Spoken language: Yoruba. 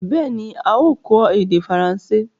Bẹ́ẹ̀ni, a ó kọ́ èdè faransé.